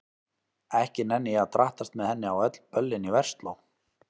Ekki nenni ég að drattast með henni á öll böllin í Versló.